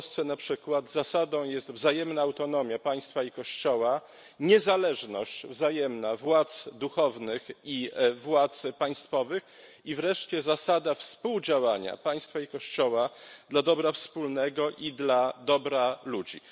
W Polsce, na przykład, zasadą jest wzajemna autonomia państwa i Kościoła, niezależność wzajemna władz duchownych i władz państwowych i wreszcie zasada współdziałania państwa i Kościoła dla dobra wspólnego i dla dobra ludzi.